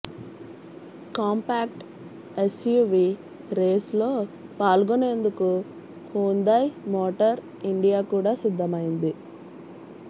compact SUV రేస్లో పాల్గొనేందుకు Hyundai motor India కూడా సిద్ధమైంది